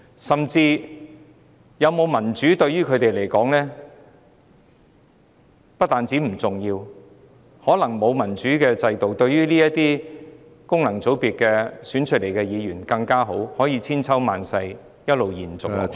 香港有否落實民主制度，對他們來說不單不重要，甚至可說是沒有則更好，可讓功能界別選舉制度得以千秋萬世一直延續下去。